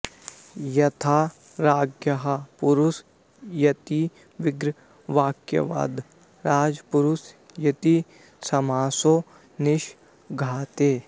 यथा राज्ञः पुरुष इति विग्रहवाक्याद् राजपुरुष इति समासो निष्पाद्यते